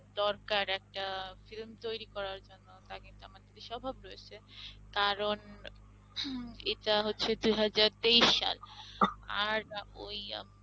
দরকার একটা film তৈরী করার জন্য তা কিন্তু আমাদের দেশে অভাব রয়েছে কারণ এটা হচ্ছে দুইহাজার তেইশ সাল আর ওই আম~